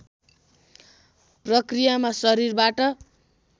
प्रक्रियामा शरीरबाट